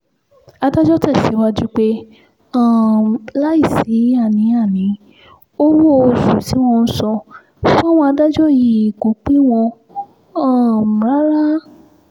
adájọ́ tẹ̀síwájú pé um láì sí àní-àní owó-oṣù tí wọ́n ń san fáwọn adájọ́ yìí kò pè wọ́n um rárá